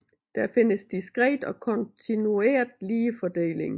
Der findes diskret og kontinuert ligefordeling